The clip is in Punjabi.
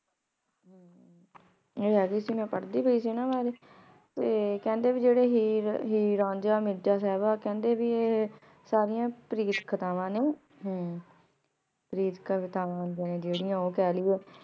ਆਯ ਹੈ ਸੀ ਮੈਂ ਪਰ੍ਹਦੀ ਪੈ ਸੀ ਨਾ ਤੇ ਕੇਹ੍ਨ੍ਡੇ ਭਾਈ ਜੇਰੀ ਹੀਰ ਹੀਰ ਰਾਂਝਾ ਮਿਰਜ਼ਾ ਸਾਹਿਬਾ ਕੇਹ੍ਨ੍ਡੇ ਭੀ ਆਹੀ ਸਰਿਯਾਂ ਪ੍ਰੀਤ ਕਥਾਵਾਂ ਨੇ ਹਨ ਪ੍ਰੀਤ ਕਥਾਵਾਂ ਨੇ ਜੇਰਿਯਾਂ ਊ ਕਹ ਲਿਯੇ